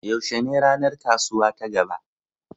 Yaushe ne ranar kasuwa ta gaba?